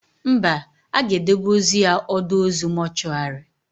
Mba, a ga-edebe ozu ya ọdọ ozu mọchụarị